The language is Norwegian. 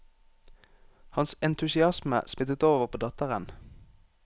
Hans entusiasme smittet over på datteren.